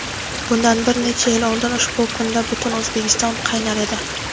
Bundan bir necha yil oldin ushbu kunda butun O‘zbekiston "qaynar" edi.